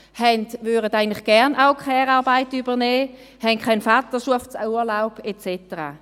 Sie würden eigentlich gerne auch Care-Arbeit übernehmen, erhalten keinen Vaterschaftsurlaub, und so weiter.